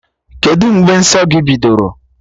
Kedụ mgbe nsọ gị bidoro?